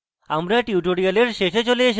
আমরা tutorial শেষে চলে এসেছি